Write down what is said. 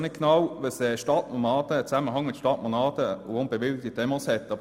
Ich erkenne den Zusammenhang zwischen Stadtnomaden und unbewilligten Demos noch nicht genau.